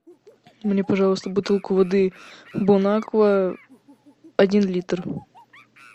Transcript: мне пожалуйста бутылку воды бонаква один литр